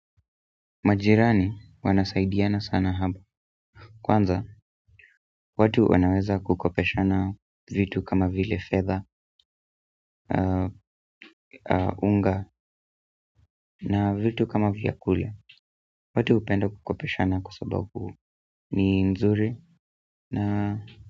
Majirani wanasaidiana sana hapa, kwanza, watu wanaweza kukopeshana vitu kama vile fedha, unga. Na vitu kama vyakula watu hupenda kukopeshana kwa sababu ni nzuri na.